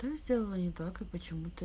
да сделала не так и почему то